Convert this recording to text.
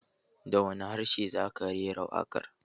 Da wani harshe za ka rera waƙar?